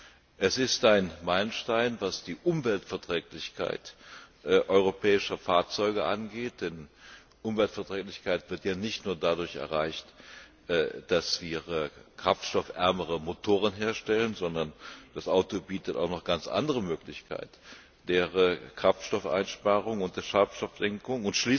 Sie ist ein Meilenstein, was die Umweltverträglichkeit europäischer Fahrzeuge angeht, denn Umweltverträglichkeit wird ja nicht nur dadurch erreicht, dass wir kraftstoffärmere Motoren herstellen, sondern das Auto bietet noch ganz andere Möglichkeiten der Kraftstoffeinsparung und der Schadstoffsenkung.